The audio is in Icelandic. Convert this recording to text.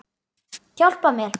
Hjálpa mér!